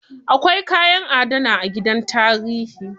Akwai kayan adana a gidan tarihi.